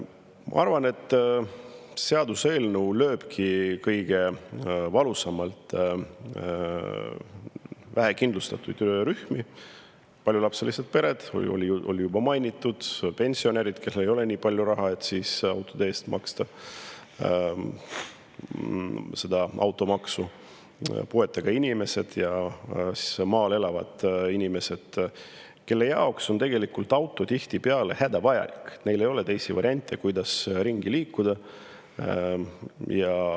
Ma arvan, et seaduseelnõu lööbki kõige valusamalt vähekindlustatud rühmi: paljulapselised pered, keda sai juba mainitud, pensionärid, kellel ei ole nii palju raha, et autode eest maksta seda automaksu, puuetega inimesed ja maal elavad inimesed, kelle jaoks on tegelikult auto tihtipeale hädavajalik, neil ei ole teisi variante, kuidas ringi liikuda.